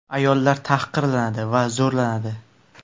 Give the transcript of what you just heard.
Ayollar tahqirlanadi va zo‘rlanadi.